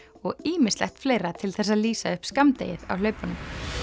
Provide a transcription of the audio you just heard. og ýmislegt fleira til þess að lýsa upp skammdegið á hlaupunum